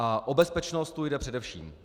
A o bezpečnost tu jde především.